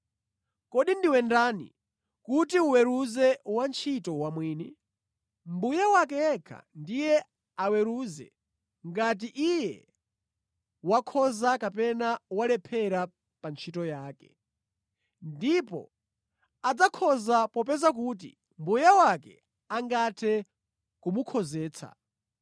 Kodi ndiwe ndani kuti uweruze wantchito wamwini? Mbuye wake yekha ndiye aweruze ngati iye wakhoza kapena walephera pa ntchito yake. Ndipo adzakhoza popeza kuti Mbuye wake angathe kumukhozetsa.